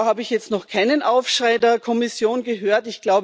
Da habe ich jetzt noch keinen Aufschrei der Kommission gehört.